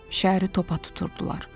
Şəhəri topa tuturdular.